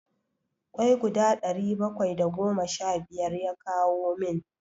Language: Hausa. kwai guda ɗari bakwai da goma sha biyar ya kawo min.